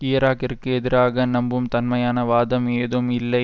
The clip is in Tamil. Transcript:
ஈராக்கிற்கு எதிராக நம்பும் தன்மையான வாதம் ஏதும் இல்லை